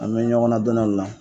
An bɛ ɲɔgɔn ladɔnniya o de la